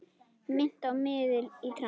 Minnti á miðil í trans.